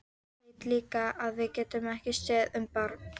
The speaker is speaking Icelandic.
Veit líka að við getum ekki séð um barn.